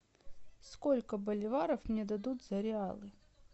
сколько боливаров мне дадут за реалы